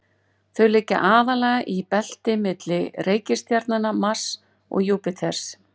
þau liggja aðallega í belti milli reikistjarnanna mars og júpíters